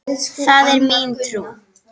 Það er mín trú.